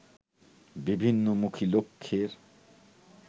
বিভিন্নমুখী লক্ষ্যের